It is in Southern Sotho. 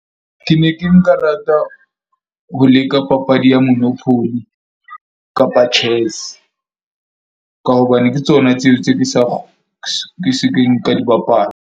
Ke ne ke nka rata ho leka papadi ya monopoly kapa chess ka hobane ke tsona tseo tse ke sa ke se keng ka di bapala.